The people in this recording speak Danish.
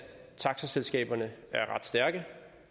taxaselskaberne er ret stærke